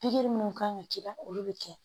Pikiri minnu kan ka k'i la olu bɛ kɛ